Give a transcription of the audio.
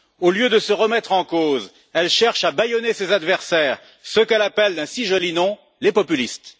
Au lieu de se remettre en cause, elle cherche à bâillonner ses adversaires, ceux qu'elle appelle d'un si joli nom les populistes.